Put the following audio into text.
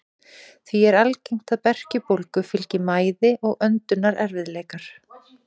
Því er algengt að berkjubólgu fylgi mæði og öndunarerfiðleikar.